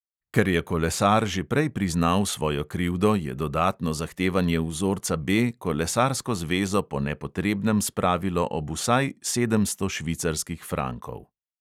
Ker je kolesar že prej priznal svojo krivdo, je dodatno zahtevanje vzorca B kolesarsko zvezo po nepotrebnem spravilo ob vsaj sedemsto švicarskih frankov.